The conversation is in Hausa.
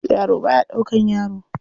Yaro ba ya ɗaukar yaro.